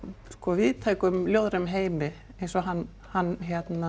víðtækum ljóðrænum heimi eins og hann hann